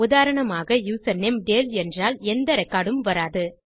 உதாரணமாக யூசர்நேம் டேல் என்றால் எந்த ரெக்கார்ட் உம் வராது